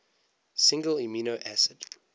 single amino acid